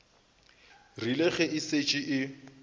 rile ge e šetše e